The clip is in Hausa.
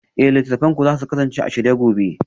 Eh littattafanku za su kasance a shirye gobe